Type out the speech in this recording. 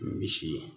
Misi